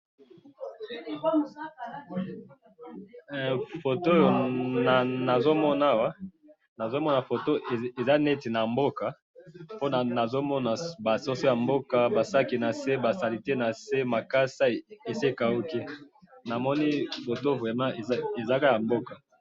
he foto oyo nazo mona awa, nazo mona foto eza neti na mboka pona nazomona ba soso ya mboka ba sac nase ba salite nase esi ekahuki namoni foto vraiment eza kaka ya mboka.